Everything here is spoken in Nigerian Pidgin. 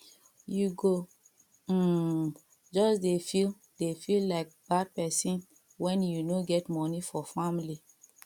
you go um just dey feel dey feel like bad pesin wen you no get moni for family